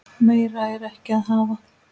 Meira er ekki að hafa.